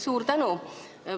Suur tänu!